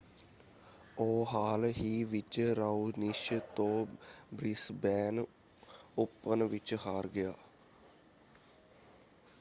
ਉਹ ਹਾਲ ਹੀ ਵਿੱਚ ਰਾਓਨਿਸ਼ ਤੋਂ ਬ੍ਰਿਸਬੇਨ ਓਪਨ ਵਿੱਚ ਹਾਰ ਗਿਆ।